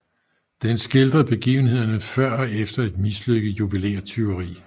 Den skildrer begivenhederne før og efter et mislykket juvelértyveri